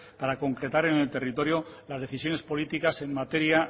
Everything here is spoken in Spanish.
para concretar en el territorio las decisiones políticas en materia